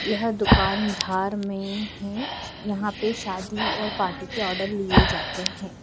यह दुकान धार में है यहां पे शादी और पार्टी के आर्डर लिए जाते हैं।